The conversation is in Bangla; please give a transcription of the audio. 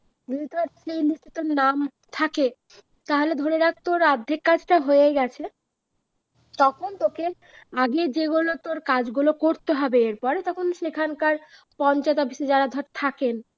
যদি ধর সেই list টায় তোর নাম থাকে তাহলে ধরে রাখ তোর অর্ধেক কাজটা হয়েই গেছে তখন তোকে আগে যেগুলো তোর কাজ গুলো করতে হবে এরপর তখন সেখানকার পঞ্চায়েত office এ যারা থাকেন